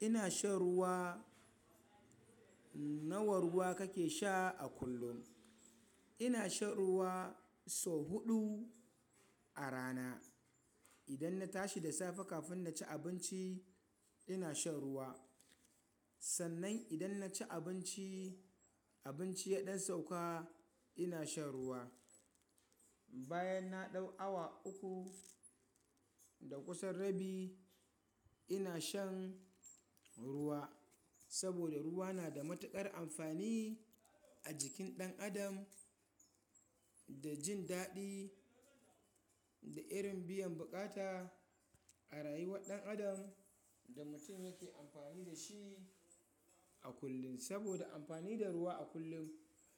Ina shan ruwa. Nawa ruwa kake sha a kullum? Ina shan ruwa sau huɗu a rana. Idan na tashi da safe kafin na ci abinci, ina shan ruwa. Sannan idan na ci abinci, abinci ya ɗan sauka, ina shan ruwa. Bayan na ɗau awa uku da kusan rabi, ina shan ruwa. Saboda ruwa na da matuƙar amfani a jikin ɗan adam da jin daɗi da irin biyan buƙata a rayuwar ɗan adam da mutum yake amfani da shi a kullum. Saboda amfani da ruwa a kullum